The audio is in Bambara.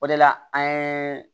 O de la an ye